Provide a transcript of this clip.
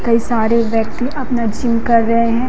कई सारे व्यक्ति अपना जिम कर रहे हैं।